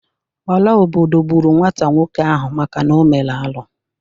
Ora obodo gburu nwata nwoke ahu maka na o mere arụ